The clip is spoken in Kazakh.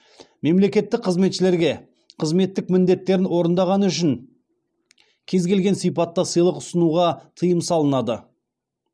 мемлекеттік қызметшілерге қызметтік міндеттерін орындағаны үшін кез келген сипатта сыйлық ұсынуға тыйым салынады